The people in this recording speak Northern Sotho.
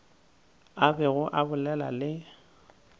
a bego a bolela le